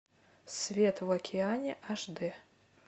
свет в океане аш д